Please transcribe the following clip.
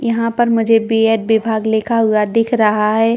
यहाँ पर मुझे बी.एड.विभाग लिखा हुआ दिख रहा हैं।